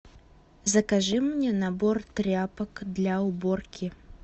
закажи мне набор тряпок для уборки